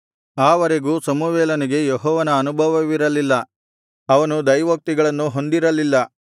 ಆವರೆಗೂ ಸಮುವೇಲನಿಗೆ ಯೆಹೋವನ ಅನುಭವವಿರಲಿಲ್ಲ ಅವನು ದೈವೋಕ್ತಿಗಳನ್ನು ಹೊಂದಿರಲಿಲ್ಲ